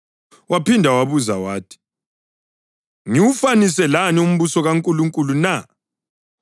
Waphinda wabuza wathi, “Ngiwufanise lani umbuso kaNkulunkulu na?